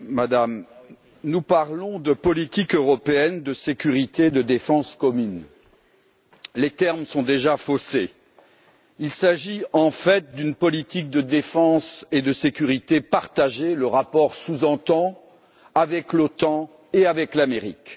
Madame la Présidente, nous parlons de politique européenne de sécurité et de défense commune. Les termes sont déjà faussés. Il s'agit, en fait, d'une politique de défense et de sécurité partagée le rapport le sous entend avec l'OTAN et avec l'Amérique.